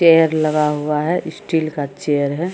Chair लगा हुआ है स्टील का चेयर है।